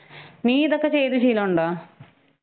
ഹ് നീ ഇതൊക്കെ ചെയ്ത് ശീലഉണ്ടോ?